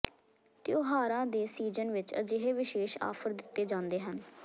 ਤਿਉਹਾਰਾਂ ਦੇ ਸੀਜ਼ਨ ਵਿੱਚ ਅਜਿਹੇ ਵਿਸ਼ੇਸ਼ ਆਫਰ ਦਿੱਤੇ ਜਾਂਦੇ ਹਨ